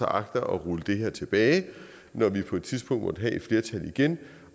agter at rulle det her tilbage når vi på et tidspunkt måtte have et flertal igen